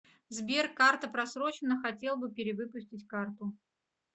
сбер карта просроченна хотел бы перевыпустить карту